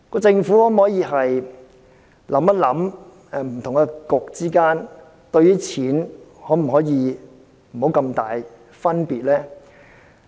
政府可否想想，不同的政策局之間，在花錢方面，可否不要有這麼大的差別呢？